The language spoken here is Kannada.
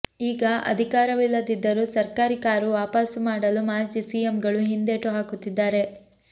ಈಗ ಅಧಿಕಾರವಿಲ್ಲದಿದ್ದರೂ ಸರ್ಕಾರಿ ಕಾರು ವಾಪಾಸು ನೀಡಲು ಮಾಜಿ ಸಿಎಂಗಳು ಹಿಂದೇಟು ಹಾಕುತ್ತಿದ್ದಾರೆ